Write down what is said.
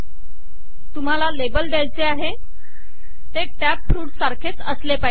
तुम्हाला लेबल द्यायचे आहे ते टॅब - फ्रुट्स सारखेच असले पाहिजे